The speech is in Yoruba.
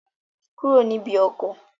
Kúrò níbi ọkọ̀!